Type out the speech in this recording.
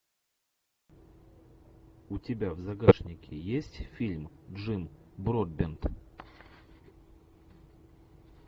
у тебя в загашнике есть фильм джим бродбент